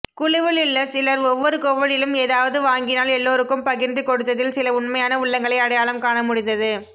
குழுவிலுள்ள சிலர் ஒவ்வொரு கோவிலிலும் ஏதாவது வாங்கினால் எல்லோருக்கும் பகிர்ந்து கொடுத்ததில் சில உண்மையான உள்ளங்களை அடையாளம் காண முடிந்தது